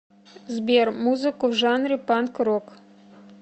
сбер музыку в жанре панк рок